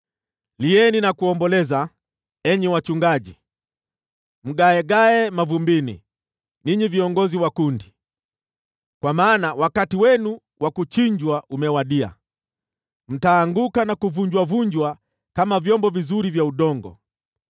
Lieni na kuomboleza, enyi wachungaji, mgaagae mavumbini, ninyi viongozi wa kundi. Kwa maana wakati wenu wa kuchinjwa umewadia; mtaanguka na kuvunjavunjwa kama vyombo vizuri vya udongo.